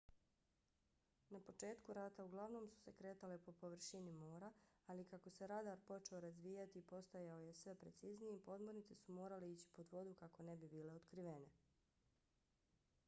na početku rata uglavnom su se kretale po površini mora ali kako se radar počeo razvijati i postajao sve precizniji podmornice su morale ići pod vodu kako ne bi bile otkrivene